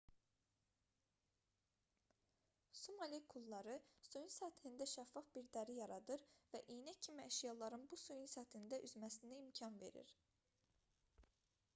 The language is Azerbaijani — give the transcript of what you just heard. su molekulları suyun səthində şəffaf bir dəri yaradır və iynə kimi əşyaların bu suyun səthində üzməsinə imkan verir